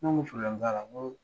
N' ko t'a la, n ko